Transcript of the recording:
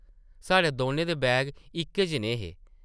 साढ़े दौनें दे बैग इक्कै जनेह् हे ।